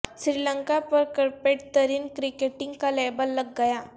سری لنکا پر کرپٹ ترین کرکٹنگ کا لیبل لگ گیا